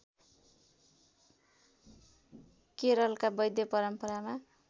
केरलका वैद्य परम्परामा